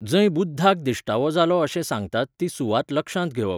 जंय बुद्धाक दिश्टावो जालो अशें सांगतात ती सुवात लक्षांत घेवप